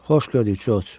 Xoş gördük, Corc.